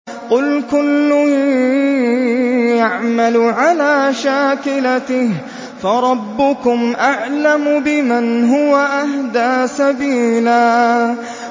قُلْ كُلٌّ يَعْمَلُ عَلَىٰ شَاكِلَتِهِ فَرَبُّكُمْ أَعْلَمُ بِمَنْ هُوَ أَهْدَىٰ سَبِيلًا